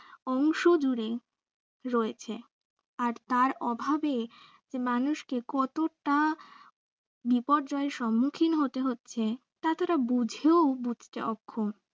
অংশ জুড়ে রয়েছে আর তার অভাবে যে মানুষকে কতটা বিপর্যয় সম্মুখীন হতে হচ্ছে তা তারা বুঝেও বুঝতে অক্ষম।